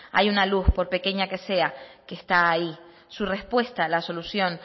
hay una luz por pequeña que sea que está ahí su respuesta a la solución